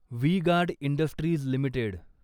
V guard industries limited